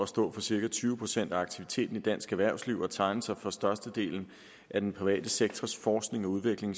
stå for cirka tyve procent af aktiviteten i dansk erhvervsliv og tegne sig for størstedelen af den private sektors forskning og udvikling